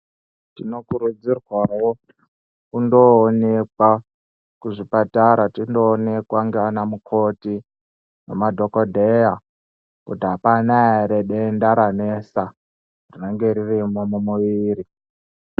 Tinokurudzirwawo kundoonekwa kuzvipatara tindoonekwa ndianaamukoti nemadhokodheya kuti hapana here denda ranetsa rinenge ririmo mumuviri